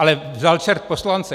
Ale vzal čert poslance.